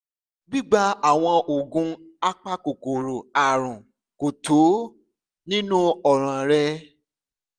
gbígba àwọn oògùn apakòkòrò àrùn kò tó nínú ọ̀ràn rẹ